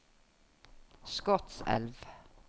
Skotselv